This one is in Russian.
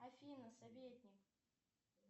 афина советник